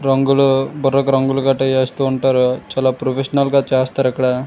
రంగులు బుర్రకు రంగులు గట్టు చేస్తుంటారు చాలా ప్రొఫెషనల్ గా చేస్తారు ఇక్కడ.